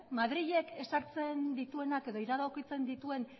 madrilek ezartzen dituenak edo iradokitzen dituen